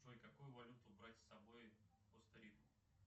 джой какую валюту брать с собой в коста рику